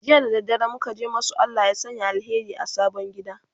jiya da dare muka je muka masu Allah ya Sanya alheri a sabon gida